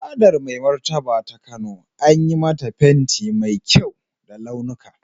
Fadar Mai Martaba ta Kano an yi mata fenti mai kyau da launuka.